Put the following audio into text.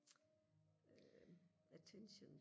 øh attention